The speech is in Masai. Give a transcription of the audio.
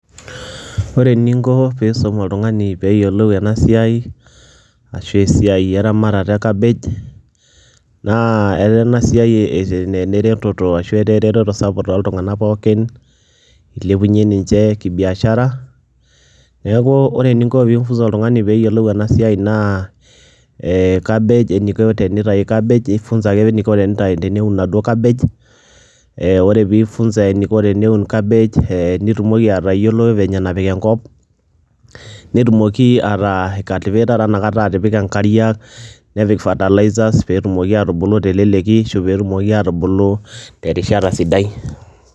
Ore eninko piisum oltung'ani peeyolou ena siai ashu esiai eramatata e cabbage naa etaa ena siai ene reteto ashu etaa ereteto sapuk tooltung'anak pookin, ilepunye ninje kibiashara. Neeku ore eninko piifunza oltung'ani pee eyeolou ena siai naa ee cabbage eniko tenitayu cabbage ifunzaki eniko tenitayu teneun naduo cabbage. Ee ore piifunza eniko teneun cabbage ee nitumoki atayiolo venye napik enkop, netumoki ataa aicultivator inakata atipika nkariak, nepik fertilizers peetumoki atubulu te leleki ashu pee etumoki atubulu te rishata sidai.